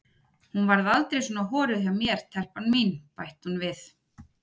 Hún varð aldrei svona horuð hjá mér telpan mín, bætti hún við.